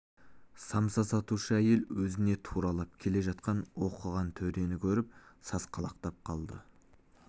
самса сатушы әйел өзіне туралап келе жатқан оқыған төрені көріп сасқалақтап қалды